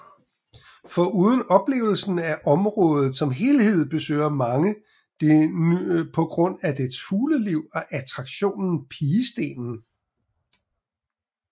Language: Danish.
Foruden oplevelsen af området som helhed besøger mange det på grund af dets fugleliv og attraktionen Pigestenen